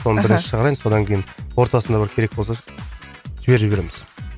аха соны бірінші шығарайын содан кейін ортасында бір керек болса жіберіп жібереміз